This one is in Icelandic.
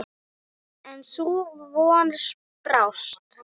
En sú von brást.